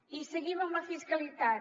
i seguim amb la fiscalitat